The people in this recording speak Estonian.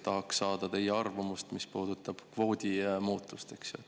Tahaksin saada teie arvamust, mis puudutab kvoodi muutust.